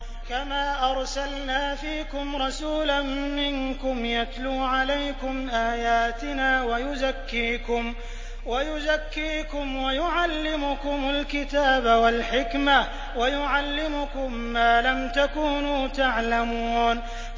كَمَا أَرْسَلْنَا فِيكُمْ رَسُولًا مِّنكُمْ يَتْلُو عَلَيْكُمْ آيَاتِنَا وَيُزَكِّيكُمْ وَيُعَلِّمُكُمُ الْكِتَابَ وَالْحِكْمَةَ وَيُعَلِّمُكُم مَّا لَمْ تَكُونُوا تَعْلَمُونَ